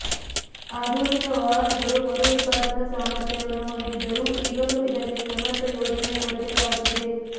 ಆಧುನಿಕ ವಾಹನಗಳು ಮರು ಉತ್ಪಾದನಾ ಸಾಮರ್ಥ್ಯವನ್ನು ಹೊಂದಿದ್ದರೂ ಈಗಲೂ ಇದಕ್ಕೆ ಸಮರ್ಥ ಯೋಜನೆಯ ಕೊರತೆ ಕಾಡುತ್ತಿದೆ